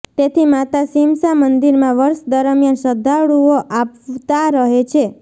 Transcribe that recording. તેથી માતા સીમસા મંદિરમાં વર્ષ દરમિયાન શ્રદ્ધાળુઓ આવતા રહે છે